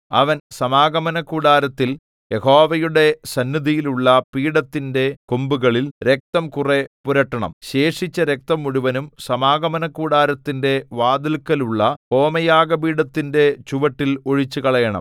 അവൻ സമാഗമനകൂടാരത്തിൽ യഹോവയുടെ സന്നിധിയിലുള്ള പീഠത്തിന്റെ കൊമ്പുകളിൽ രക്തം കുറെ പുരട്ടണം ശേഷിച്ച രക്തം മുഴുവനും സമാഗമനകൂടാരത്തിന്റെ വാതില്‍ക്കലുള്ള ഹോമയാഗപീഠത്തിന്റെ ചുവട്ടിൽ ഒഴിച്ചുകളയണം